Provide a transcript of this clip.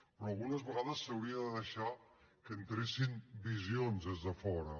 però algunes vegades s’hauria de deixar que entressin visions des de fora